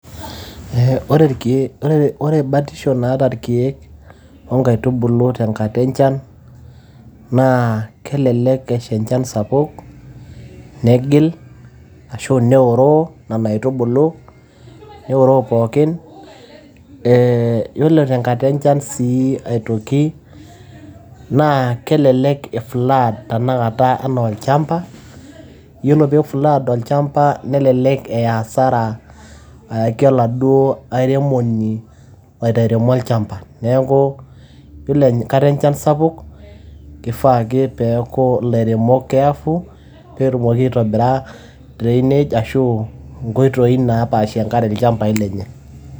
Ore embatisho naata irkeek o inkaitubulu tenkata enchan, naa kelelek esha enchan sapuk, negil anaa eoroo inene aitubulu pookin, Ee iyiolo tenkata enchan sii aitoki, naa kelelek eiflood naa teinakata olchamba. Iyiolo peyie eiflood olchamba, nelelek eya asara, ayaki oladuo airemoni, oiremo olchamba, neaku iyiolo enkata enchan sapuk, kefaa ake peyie eaku ilairemok careful peyie etumoki aitobira drainage ashu inkoitoi naa paashie enkare ilchambai lenye.